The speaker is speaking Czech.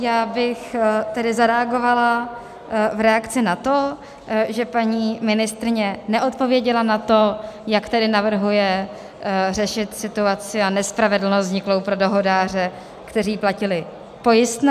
Já bych tedy zareagovala v reakci na to, že paní ministryně neodpověděla na to, jak tedy navrhuje řešit situaci a nespravedlnost vzniklou pro dohodáře, kteří platili pojistné.